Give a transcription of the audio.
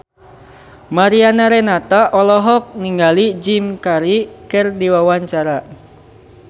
Mariana Renata olohok ningali Jim Carey keur diwawancara